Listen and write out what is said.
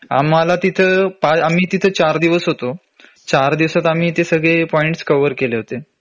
तिथं आम्ही तिथं चार दिवस होतो. चार दिवसात आम्ही ते सगळे पॉईंट्स कव्हर केले होते